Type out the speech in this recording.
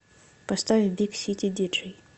поставь биг сити диджей